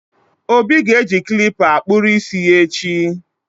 obi ga-eji klipa kpụrụ isi ya echi